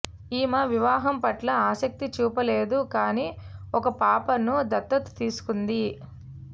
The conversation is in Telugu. ఈమె వివాహం పట్ల ఆసక్తి చూపలేదు కానీ ఒక పాపను దత్తత తీసుకుంది